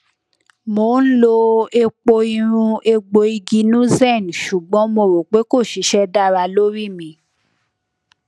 mo n lo epo irun egboigi nuzen ṣugbọn mo ro pe ko sise dara lori mi